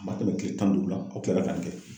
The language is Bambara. A ma tɛmɛ kile tan ni duuru kan, a kilala ka nin kɛ.